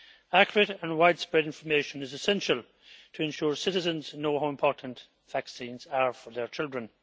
Accurate and widespread information is essential to ensure citizens know how important vaccines are for their children.